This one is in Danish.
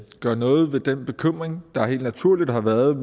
gøre noget ved den bekymring der helt naturligt har været